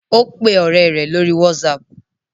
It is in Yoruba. O pe ore re lori whatsapp